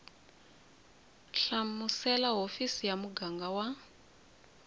hlamusela hofisi ya muganga wa